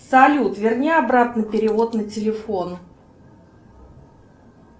салют верни обратно перевод на телефон